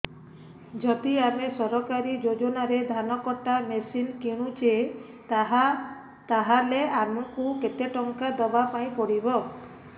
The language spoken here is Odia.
ଯଦି ଆମେ ସରକାରୀ ଯୋଜନାରେ ଧାନ କଟା ମେସିନ୍ କିଣୁଛେ ତାହାଲେ ଆମକୁ କେତେ ଟଙ୍କା ଦବାପାଇଁ ପଡିବ